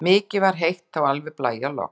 Mikið var heitt, alveg blæjalogn.